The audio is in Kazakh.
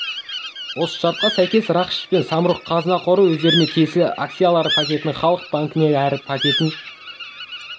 осы шартқа сәйкес рақышев пен самұрық-қазына қоры өздеріне тиесілі акциялары пакетін халық банкіге әр пакетін